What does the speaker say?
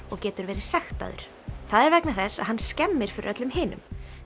og getur verið sektaður það er vegna þess að hann skemmir fyrir öllum hinum